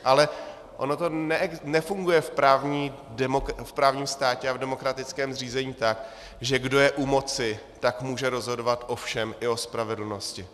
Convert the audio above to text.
Ale ono to nefunguje v právním státě a v demokratickém zřízení tak, že kdo je u moci, tak může rozhodovat o všem, i o spravedlnosti.